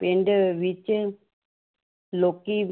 ਪਿੰਡ ਵਿੱਚ ਲੋਕੀ